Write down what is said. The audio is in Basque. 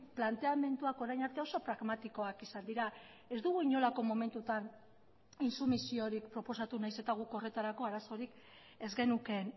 planteamenduak orain arte oso pragmatikoak izan dira ez dugu inolako momentutan intsumisiorik proposatu nahiz eta guk horretarako arazorik ez genukeen